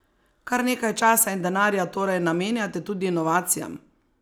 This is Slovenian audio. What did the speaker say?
Kar nekaj časa in denarja torej namenjate tudi inovacijam?